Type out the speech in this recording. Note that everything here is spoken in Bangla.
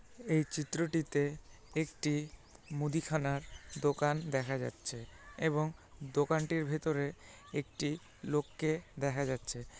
এই চিত্রটিতে একটি মুদিখানার দোকান দেখা যাচ্ছে এবং দোকানটির ভেতরে একটি লোককে দেখা যাচ্ছে।